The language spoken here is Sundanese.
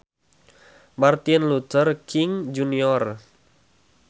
Martin Luther King Jr